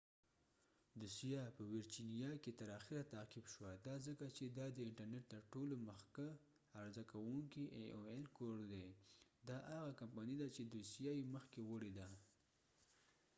دوسیه په ويرچېنیا کې تر آخره تعقیب شوه دا ځکه چې دا د انټر نټ تر ټولو مخکښ عرضه کوونکې ای اوایل aol کور دي دا هغه کمپنی ده چې دوسیه یې مخکې وړی ده